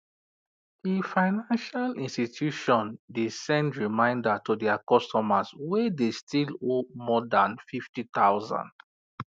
d financial institution de send reminder to their customers wey de still owe more than fifty thousand